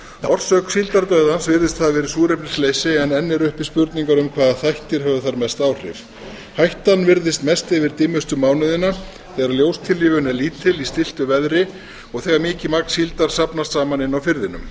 orsök síldardauðans virðist hafa verið súrefnisleysi en enn eru uppi spurningar um hvaða þættir höfðu þar mest áhrif hættan virðist mest yfir dimmustu mánuðina þegar ljós er lítil í stilltu veðri og þegar mikið magn síldar safnast saman inni á firðinum